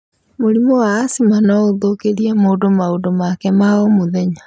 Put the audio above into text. Mũrimũ wa Asthma no ũthũkĩrie mũndũ maũndũ make ma o mũthenya